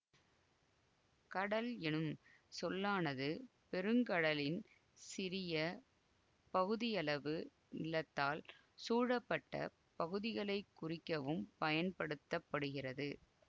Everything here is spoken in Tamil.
கடல் எனும் சொல்லானது பெருங்கடலின் சிறிய பகுதியளவு நிலத்தால் சூழப்பட்ட பகுதிகளை குறிக்கவும் பயன்படுத்த படுகிறது